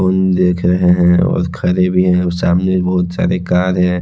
देख रहे हैं और खरे भी है और सामने बहुत सारे कार है।